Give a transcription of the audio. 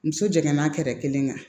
Muso jiginna kɛrɛ kelen kan